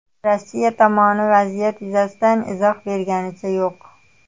Rossiya tomoni vaziyat yuzasidan izoh berganicha yo‘q.